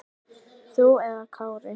Þú eða Kári?